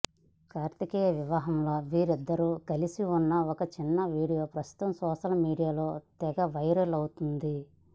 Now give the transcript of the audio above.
కార్తికేయ వివాహంలో వీరిద్దరు కలిసి ఉన్న ఒక చిన్న వీడియో ప్రస్తుతం సోషల్ మీడియాలో తెగ వైరల్ అవుతోంది